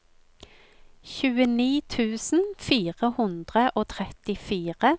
tjueni tusen fire hundre og trettifire